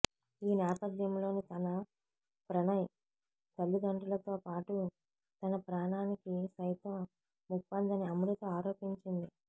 ఈ నేపథ్యంలో తన ప్రణయ్ తల్లిదండ్రులతో పాటు తన ప్రాణానికి సైతం ముప్పుందని అమృత ఆరోపించింది